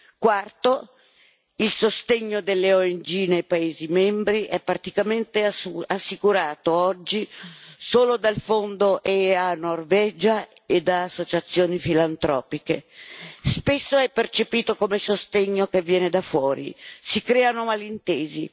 In quarto luogo, il sostegno delle ONG negli Stati membri è praticamente assicurato oggi solo dal fondo EA Norvegia e da associazioni filantropiche spesso è percepito come sostegno che viene da fuori e si creano malintesi.